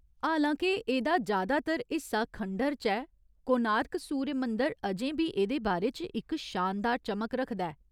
हालां के एह्दा जैदातर हिस्सा खंडह्‌र च ऐ, कोणार्क सूर्य मंदर अजें बी एह्दे बारे च इक शानदार चमक रखदा ऐ।